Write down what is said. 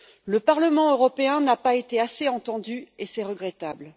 Le Parlement européen n'a pas été assez entendu et c'est regrettable.